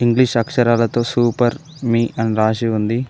English అక్షరాలతో super మీ అని రాసి ఉంది.